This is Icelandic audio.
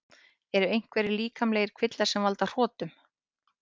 Eru einhverjir líkamlegir kvillar sem valda hrotum?